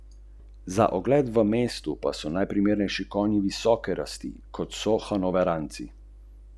Zaznavaš vonj po nafti, po zgorevanju nafte?